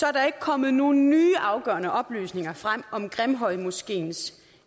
er der ikke kommet nogen nye afgørende oplysninger frem om grimhøjmoskeens